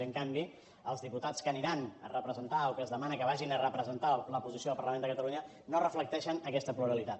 i en canvi els diputats que aniran a representar o que es demana que vagin a representar la posició del parlament de catalunya no reflecteixen aquesta pluralitat